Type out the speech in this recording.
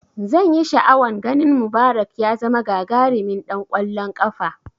Zanyi sha'awan ganin Mubarak ya zama gagarimin ɗan kwallon kafa